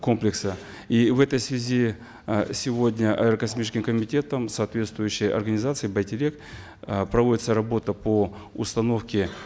комплекса и в этой связи э сегодня аэрокосмическим комитетом соответствующей организацией байтерек э проводится работа по установке